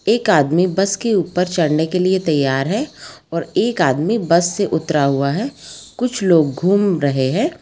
एक आदमी बस के ऊपर चढ़ने के लिए तैयार हैं और एक आदमी बस से उतरा हुआ हैं कुछ लोग घूम रहे हैं।